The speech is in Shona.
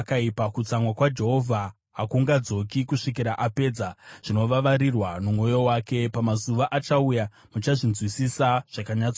Kutsamwa kwaJehovha hakungadzoki, kusvikira apedza zvinovavarirwa nomwoyo wake. Pamazuva achauya muchazvinzwisisa zvakanyatsojeka.